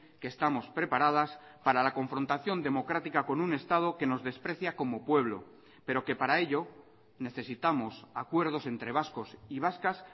que estamos preparadas para la confrontación democrática con un estado que nos desprecia como pueblo pero que para ello necesitamos acuerdos entre vascos y vascas